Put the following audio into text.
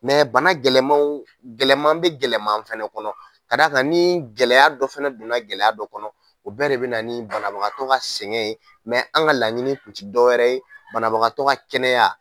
bana gɛlɛmanw, gɛlɛman bɛ gɛlɛman fɛnɛ kɔnɔ ka da kan ni gɛlɛya dɔ fɛnɛ donna gɛlɛya dɔ kɔnɔ o bɛɛ de bɛ na banabagatɔ ka sɛgɛn ye an ka laɲini tun tɛ dɔwɛrɛ ye banabagatɔ ka kɛnɛya.